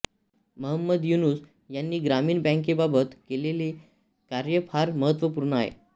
महंमद युनूस यांनी ग्रामीण बॅंकेबाबत केलेले कार्य फार महत्त्वपूर्ण आहे